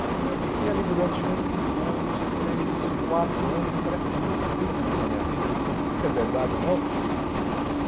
Aí eu fiquei ali durante um, dois, três, quatro anos, e parece que é meio cíclico na minha vida, não sei se é verdade ou não.